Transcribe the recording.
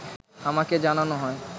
আমাকে জানানো হয়